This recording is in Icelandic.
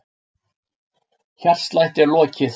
Hjartslætti er lokið.